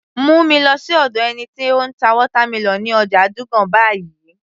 Mú mi lọ sí ọ̀dọ̀ ẹni tí ó ń ta watermelon ní ọjà Dugan báyìí